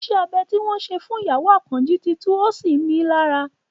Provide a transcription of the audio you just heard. Ìṣe abẹ tí wọ́n ṣe fún ìyàwó Àkànjí ti tú, ó sì ń ni í lára